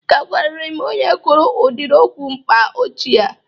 Ị ga-agwarịrị m onye kwuru ụdịrị okwu mkpa ọchị a!